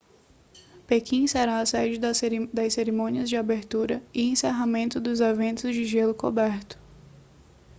pequim será a sede das cerimônias de abertura e encerramento e dos eventos de gelo coberto